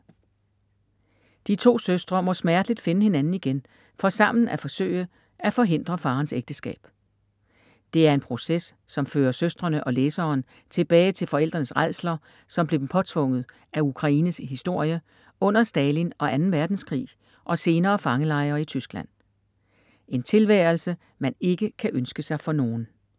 De to søstre må smerteligt finde hinanden igen for sammen at forsøge at forhindre faderens ægteskab. Det er en proces som fører søstrene og læseren tilbage til forældrenes rædsler som blev dem påtvunget af Ukraines historie under Stalin og 2. verdenkrig og senere fangelejre i Tyskland. En tilværelse man ikke kan ønske sig for nogen.